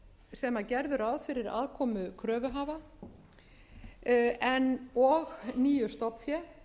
sem gerðu ráð fyrir aðkomu kröfuhafa og nýju stofnfé